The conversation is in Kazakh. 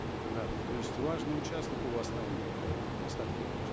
да то есть важный участок у вас там эээ асхат елюбаевич